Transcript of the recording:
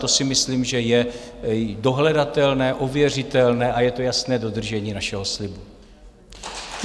To si myslím, že je dohledatelné, ověřitelné a je to jasné dodržení našeho slibu.